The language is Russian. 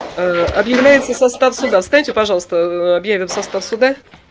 ээ объявляется состав суда встаньте пожалуйста ээ объявим состав суда